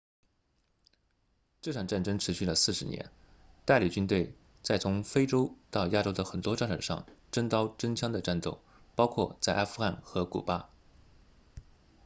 这场战争持续了40年代理军队在从非洲到亚洲的很多战场上真刀真枪地战斗包括在阿富汗和古巴